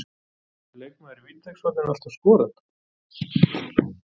Getur leikmaður í vítateigshorninu alltaf skorað?